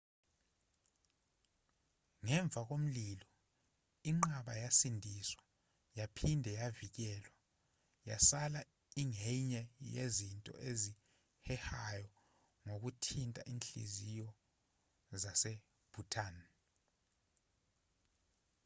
ngemva komlilo inqaba yasindiswa yaphinde yavikelwa yasala ingenye yezinto ezihehayo ngokuthinta inhliziyo zase-bhutan